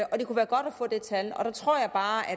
få det tal der tror jeg bare at